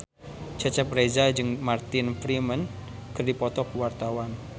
Cecep Reza jeung Martin Freeman keur dipoto ku wartawan